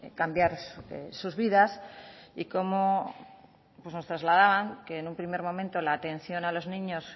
cambiar sus vidas y cómo nos trasladaban que en un primer momento la atención a los niños